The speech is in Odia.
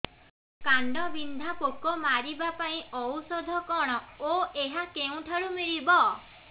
କାଣ୍ଡବିନ୍ଧା ପୋକ ମାରିବା ପାଇଁ ଔଷଧ କଣ ଓ ଏହା କେଉଁଠାରୁ ମିଳିବ